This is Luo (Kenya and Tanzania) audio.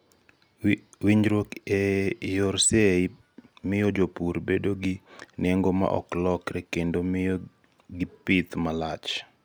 winjruok e yor seyi miyo jopur bedo gi nengo ma oklokre kendo miyo gi pith ma lach